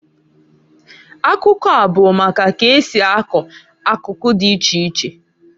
Akụkọa bụ maka ka esi akọ akụkụ dị iche iche.